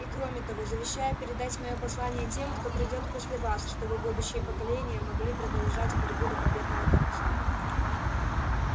и кроме того завещаю передать моё послание тем кто придёт после вас чтобы будущие поколения могли продолжать борьбу до победного конца